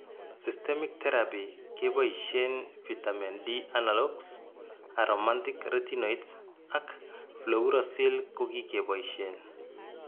systemic teraphy keboisien vitamin D analogues, aromantic retinoids ak fluorouracil kokikeboisien